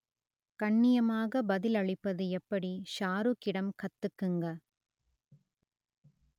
கண்ணியமாக பதிலளிப்பது எப்படி ஷாருக்கிடம் கத்துக்குங்க